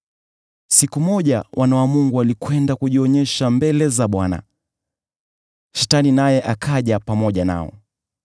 Siku moja wana wa Mungu walikwenda kujionyesha mbele za Bwana . Shetani naye akaja pamoja nao.